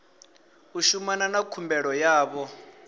u shumana na khumbelo yavho